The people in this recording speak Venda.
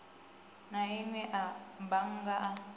na inwe a bannga i